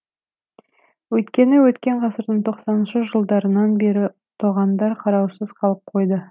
өйткені өткен ғасырдың тоқсаныншы жылдарынан бері тоғандар қараусыз қалып қойды